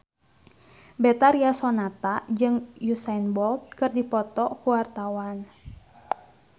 Betharia Sonata jeung Usain Bolt keur dipoto ku wartawan